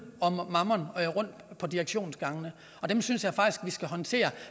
og mammom rundt på direktionsgangene og dem synes jeg faktisk vi skal håndtere